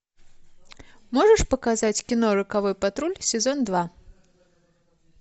можешь показать кино роковой патруль сезон два